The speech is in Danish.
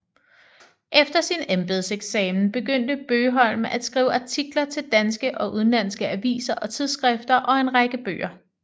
Efter sin embedseksamen begyndte Bøgholm at skrive artikler til danske og udenlandske aviser og tidsskrifter og en række bøger